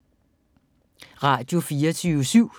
Radio24syv